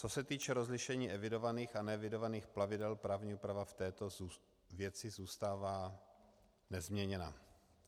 Co se týče rozlišení evidovaných a neevidovaných plavidel právní úprava v této věci zůstává nezměněna.